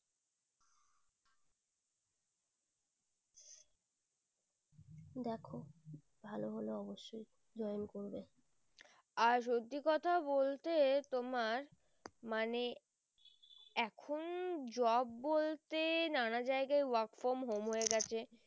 আর সত্যি কথা বলতে তোমার মানে এখুন job বলতে নানা জায়গা work from home হয়ে গেছে।